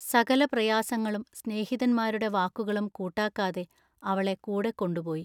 സകല പ്രയാസങ്ങളും സ്നേഹിതന്മാരുടെ വാക്കുകളും കൂട്ടാക്കാതെ അവളെ കൂടെകൊണ്ടുപോയി.